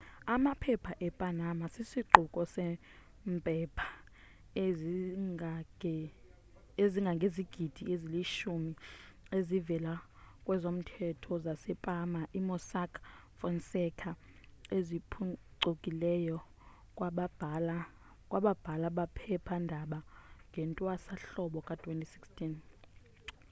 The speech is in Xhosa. amaphepha e-panama sisiquko sempepha ezingangezigidi eziyilishumi ezivela kwezomthetho zase-panama i-mossack fonseca eziphuncikileyo kwababhala bephepha ndaba ngewntwasa hlobo ka-2016